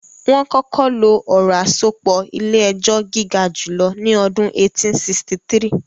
Wọ́n kọ́kọ́ lo ọ̀rọ̀ àsopọ̀ ilé-ẹjọ́ gígajùlọ ní ọdún 1863